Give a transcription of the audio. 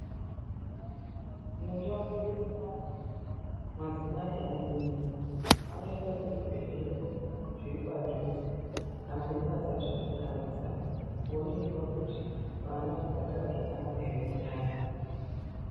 Mundau mwedu munomu madzimai ane mimba anoende kuzvibhedhlera zviri padhuze kana mimba dzasvika kana dzisati kooningirwa kuti vana vakagara zvakanaka ere mundani.